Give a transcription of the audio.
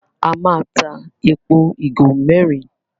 A má tá èpo igo mérin.